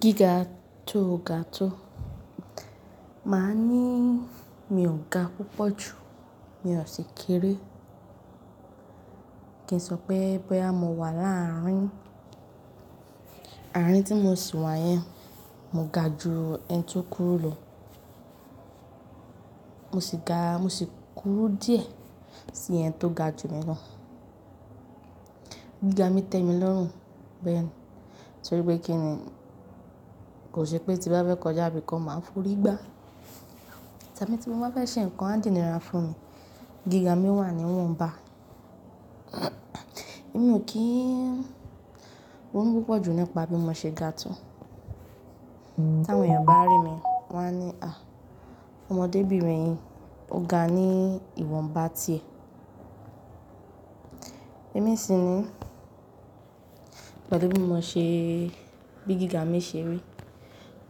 Gíga tó ga tó. Máa ní mi ò ga púpọ̀ jù, mi ò sì kéré. Kí n sọ pé boyà mo wà láàárín. Àárín tí mo sì wà yẹn, mo ga ju ẹni tí ó kúrú lọ. Mo sì ga, mo sì kúrú díẹ̀ sí ẹni tó ga ju mi lọ. Gíga mi tẹ mi lọ́rùn bẹ́ẹ̀ ni. Torí pé kí ni kò ṣe pé tí n bá fẹ́ kọjá ibi kan máa ń f'ori gbá. Tàbí tí mo bá fẹ́ ṣe nǹkan adìni ra fún mi, gíga mi wà ní ìwọ̀n bá. Èmi ò kí ń ronu púpọ̀ jù nípa bí mo ṣe ga tó. Tà àwọn èèyàn bá rí mi, wọ́n á ní, "à, ọmọdébìnrin yìí ó ga ní ìwọ̀n bá ti è." Ẹ̀mí sì ní, pàtó bí mo ṣe, bí gíga mi ṣe rí,